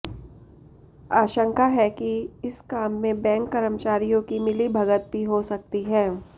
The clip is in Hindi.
आशंका है कि इस काम में बैंक कर्मचारियों की मिलीभगत भी हो सकती है